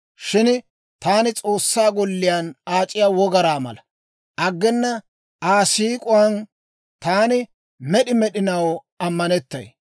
Shin taani S'oossaa golliyaan aac'iya wogaraa mala. Aggena Aa siik'uwaan taani med'i med'inaw ammanettay.